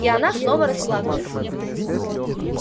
и она снова расплакалась